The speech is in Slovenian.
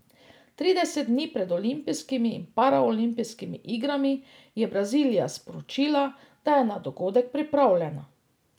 Trideset dni pred olimpijskimi in paraolimpijskimi igrami je Brazilija sporočila, da je na dogodek pripravljena.